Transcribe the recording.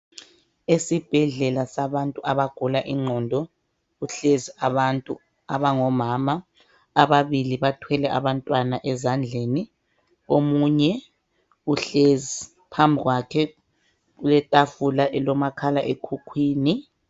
Esibhedlela sabantu abagula ingqondo ,kuhlezi abantu abangomama .Ababili bathwele abantwana ezandleni ,omunye uhlezi phambikwakhe kulethafula elomakhala ekhukhwini.